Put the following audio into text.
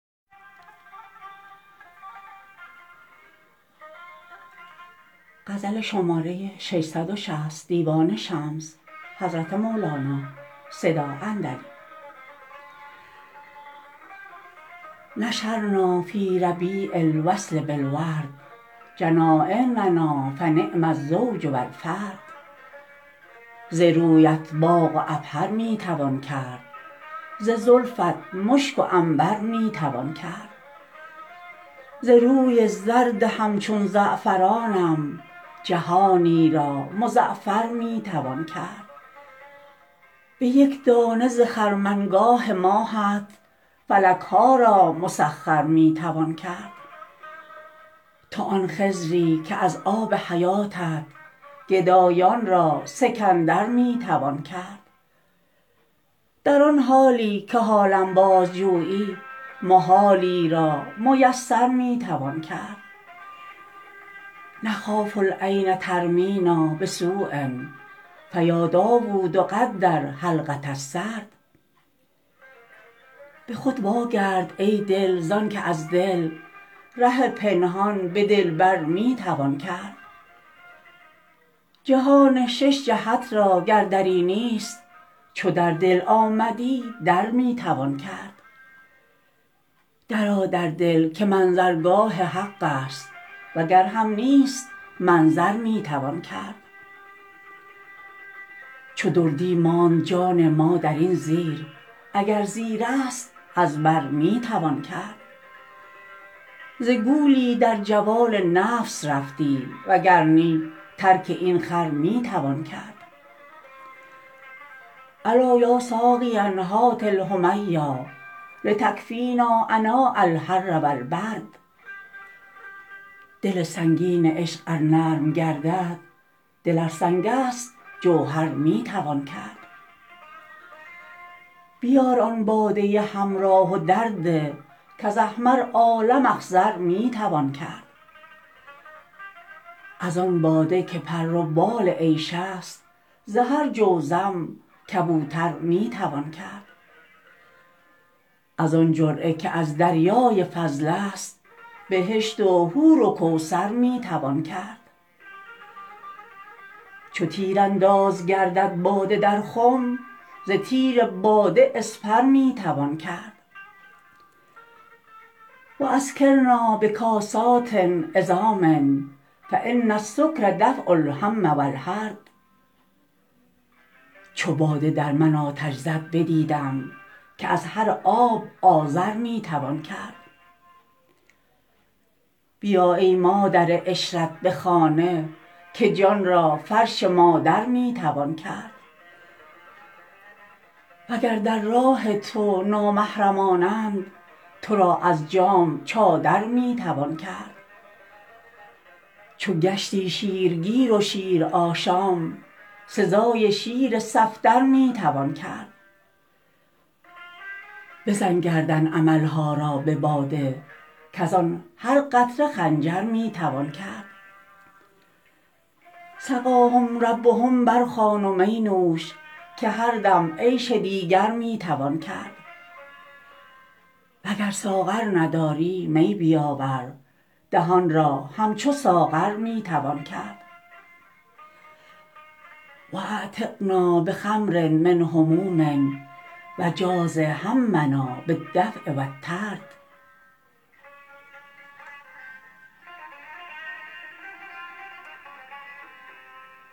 نثرنا فی ربیع الوصل بالورد حنانینا فنعم الزوج و الفرد ز رویت باغ و عبهر می توان کرد ز زلفت مشک و عنبر می توان کرد ز روی زرد همچون زعفرانم جهانی را مزعفر می توان کرد به یک دانه ز خرمنگاه ماهت فلک ها را مسخر می توان کرد تو آن خضری که از آب حیاتت گدایان را سکندر می توان کرد در آن حالی که حالم بازجویی محالی را میسر می توان کرد نخاف العین ترمینا بسو فیا داود قدر حلقه السرد به خود واگرد ای دل زانک از دل ره پنهان به دلبر می توان کرد جهان شش جهت را گر دری نیست چو در دل آمدی در می توان کرد درآ در دل که منظرگاه حقست وگر هم نیست منظر می توان کرد چو دردی ماند جان ما در این زیر اگر زیرست از بر می توان کرد ز گولی در جوال نفس رفتی وگر نی ترک این خر می توان کرد الا یا ساقیا هات الحمیا لتکفینا عناء الحر و البرد دل سنگین عشق ار نرم گردد دل ار سنگست جوهر می توان کرد بیار آن باده حمرا و درده کز احمر عالم اخضر می توان کرد از آن باده که پر و بال عیش است ز هر جزوم کبوتر می توان کرد از آن جرعه که از دریای فضل است بهشت و حور و کوثر می توان کرد چو تیرانداز گردد باده در خم ز تیر باده اسپر می توان کرد و اسکرنا به کاسات عظام فان السکر دفع الهم و الحرد چو باده در من آتش زد بدیدم که از هر آب آذر می توان کرد بیا ای مادر عشرت به خانه که جان را فرش مادر می توان کرد وگر در راه تو نامحرمانند تو را از جام چادر می توان کرد چو گشتی شیرگیر و شیرآشام سزای شیر صفدر می توان کرد بزن گردن امل ها را به باده کز آن هر قطره خنجر می توان کرد سقاهم ربهم برخوان و می نوش که هر دم عیش دیگر می توان کرد وگر ساغر نداری می بیاور دهان را همچو ساغر می توان کرد و اعتقنا به خمر من هموم و جازی همنا بالدفع و الطرد